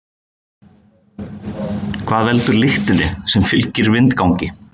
Hvað veldur lyktinni sem fylgir vindgangi?